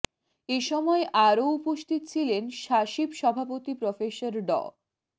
এ সময় আরও উপস্থিত ছিলেন স্বাশিপ সভাপতি প্রফেসর ড